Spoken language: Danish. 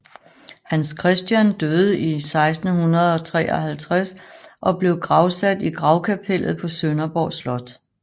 Hans Christian døde i 1653 og blev gravsat i gravkapellet på Sønderborg Slot